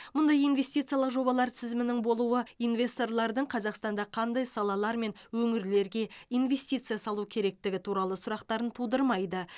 мұндай инвестициялық жобалар тізімінің болуы инвесторлардың қазақстанда қандай салалар мен өңірлерге инвестиция салу керектігі туралы сұрақтарын тудырмайды